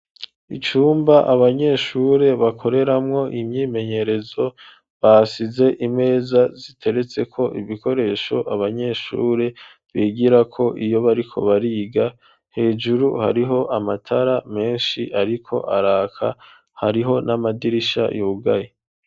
Icumba abanyeshure bakoreramwo imyimenyerezo basize imeza ziteretse ko ibikoresho abanyeshure bigirako iyo bariko bariga. Hejuru hariho amatara menshi ariko araka ,hariho n'amadirisha yugaye.